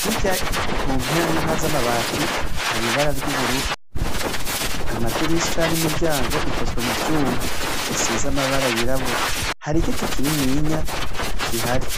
Hirya ku mpera n'impera z'amabati hari ibara ry'ubururu ,amadirisha n'imiryango ikozwe mu vyuma bisize amabara yirabura ,hari igiti kininiya gihari.